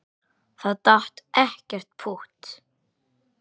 Það datt ekkert pútt.